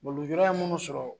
Lujura ye munnu sɔrɔ